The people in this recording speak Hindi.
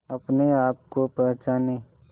अपने आप को पहचाने